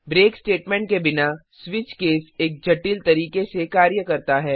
break statement के बिना switch case एक जटिल तरीके से कार्य करता है